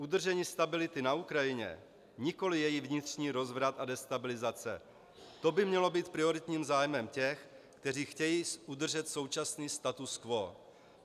Udržení stability na Ukrajině, nikoli její vnitřní rozvrat a destabilizace, to by mělo být prioritním zájmem těch, kteří chtějí udržet současný status quo.